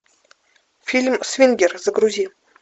фильм свингер загрузи